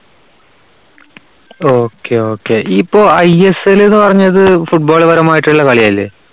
okay, okay. ഇപ്പോ I S L എന്ന് പറഞ്ഞത് football പരമായിട്ടുള്ള കളിയല്ലേ?